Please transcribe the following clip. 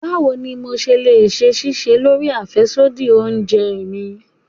Báwo ni mo le ṣe ṣisẹ́ lórí àfẹ́sódì oúnjẹ mi?